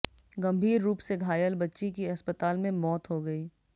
गंभीर रूप से घायल बच्ची की अस्पताल में मौत हो गई